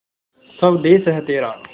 स्वदेस है तेरा